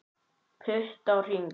Pútt á hring